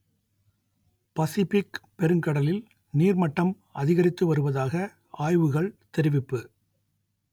Pacific பெருங்கடலில் நீர்மட்டம் அதிகரித்து வருவதாக ஆய்வுகள் தெரிவிப்பு